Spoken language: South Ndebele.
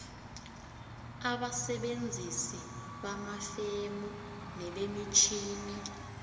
abesebenzisi bamafemu nebemitjhini